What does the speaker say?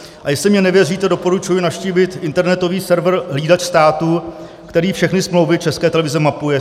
A jestli mně nevěříte, doporučuji navštívit internetový server Hlídač státu, který všechny smlouvy České televize mapuje.